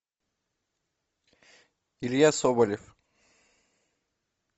илья соболев